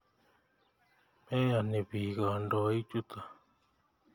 Meyoni piik kandoik chutok